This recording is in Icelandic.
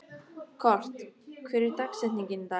Kort, hver er dagsetningin í dag?